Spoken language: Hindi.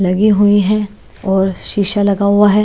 लगी हुई हैं और शीशा लगा हुआ है।